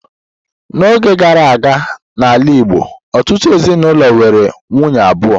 N'oge gara aga n'ala Igbo, ọtụtụ ezinaụlọ nwere nwunye abụọ.